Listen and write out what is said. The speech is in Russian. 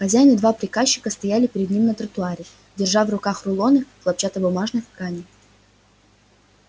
хозяин и два приказчика стояли перед ними на тротуаре держа в руках рулоны хлопчатобумажных тканей